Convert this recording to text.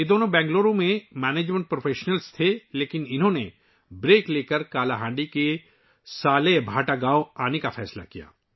یہ دونوں بنگلورو میں مینجمنٹ پیشہ ور تھے لیکن انہوں نے وقفہ لے کر کالاہانڈی سے سالیبھاٹا گاؤں آنے کا فیصلہ کیا